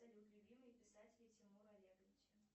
любимые писатели тимура олеговича